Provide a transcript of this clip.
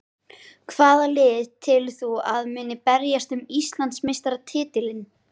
Hvaða lið telur þú að muni berjast um Íslandsmeistaratitilinn?